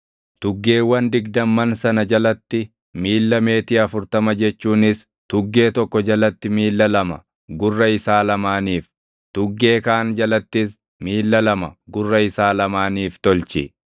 tuggeewwan digdamman sana jalatti miilla meetii afurtama jechuunis tuggee tokko jalatti miilla lama gurra isaa lamaaniif, tuggee kaan jalattis miilla lama gurra isaa lamaaniif tolchi.